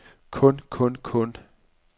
kun kun kun